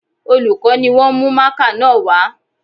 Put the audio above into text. Olùkọ́ ni wọ́n mú mákà náà wá